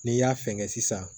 N'i y'a fɛngɛ sisan